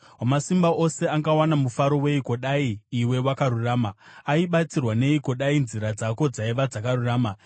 Wamasimba Ose angawana mufaro weiko dai iwe wakarurama? Aibatsirwa neiko dai nzira dzako dzaiva dzakarurama?